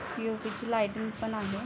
POP. ची lighting पण आहे.